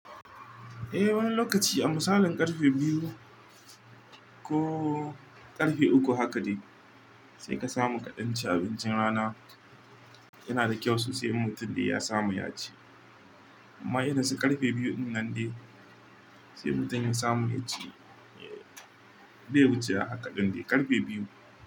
Eh wani lokaci a misalin ƙarfe biyu ko ƙarfe uku haka dai sai ka samu kaɗan ci abincin rana yana da kyau sosai. In Mutum dai ya samu ya ci amma irin su ƙarfe biyu in nan dai sai mutum ya samu ya ci. Bai wuce a haka ɗin dai ƙarfe biyu.